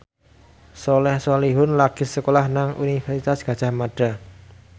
Soleh Solihun lagi sekolah nang Universitas Gadjah Mada